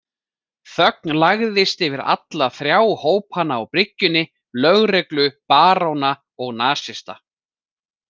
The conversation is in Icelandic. Þögn lagðist yfir alla þrjá hópana á bryggjunni, lögreglu, baróna og nasista.